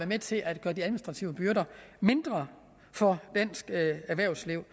med til at gøre de administrative byrder mindre for dansk erhvervsliv